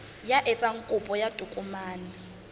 ya etsang kopo ya tokomane